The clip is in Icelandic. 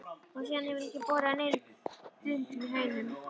Og síðan hefur ekki borið á neinum dyntum í hænunum.